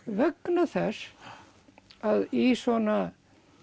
vegna þess að í svona